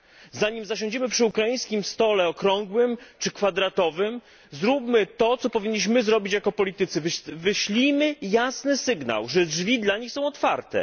Zanim zasiądziemy przy ukraińskim stole okrągłym czy kwadratowym, zróbmy to, co powinniśmy zrobić jako politycy, wyślijmy jasny sygnał, że drzwi dla nich są otwarte.